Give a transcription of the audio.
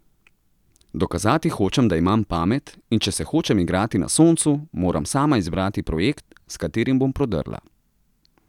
Dokazati hočem, da imam pamet, in če se hočem igrati na soncu, moram sama izbrati projekt, s katerim bom prodrla.